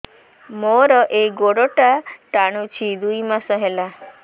ମୋର ଏଇ ଗୋଡ଼ଟା ଟାଣୁଛି ଦୁଇ ମାସ ହେଲା